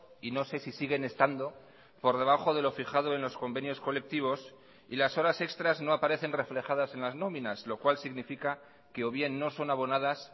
y no sé si siguen estando por debajo de lo fijado en los convenios colectivos y las horas extras no aparecen reflejadas en las nominas lo cual significa que o bien no son abonadas